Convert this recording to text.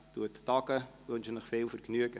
Ich wünsche Ihnen viel Vergnügen.